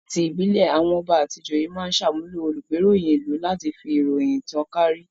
Ni ti ìbílẹ̀, àwọn ọba àti ìjòyè máa ń ṣàmúlò olùgbéròyìn-ìlú láti fi ìròyìn tan kàárí.